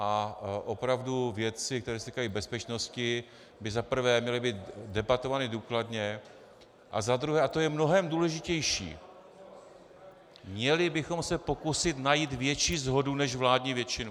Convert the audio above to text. A opravdu věci, které se týkají bezpečnosti by za prvé měly být debatovány důkladně a za druhé, a to je mnohem důležitější, měli bychom se pokusit najít větší shodu než vládní většinu.